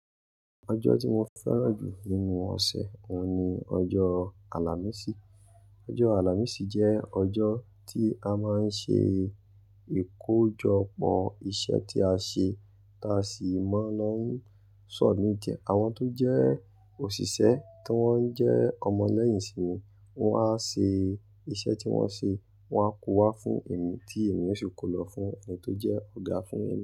Ọjọ́ tí mo fẹ́ràn jù nínú ọ̀sẹ̀, òun ni ọjọ́ àlàmísì. Ọjọ́ àlàmísì jẹ́ ọjọ́ tí a máa ń ṣe ìkojọpọ̀ iṣẹ́ tí a ṣe tá a sì mọ́ lọ́ ń sọ̀mit e. Àwọn tó jẹ́ òṣìṣẹ́ tí wọ́n jẹ́ ọmọ lẹ́yìn simi, wọ́n á ṣe iṣẹ́ tí wọ́n ṣe, wọ́n á kó wá fún èmi tí èmi yóò sì kó lọ fún ẹni tó jẹ́ ọ̀gá fún èmi.